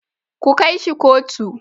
Ku kai shi kotu.